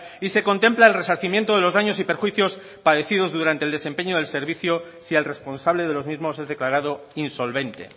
y se contempla el resarcimiento de los daños y perjuicios de los daños padecidos durante el desempeño del servicio si el responsable de los mismos es declarado insolvente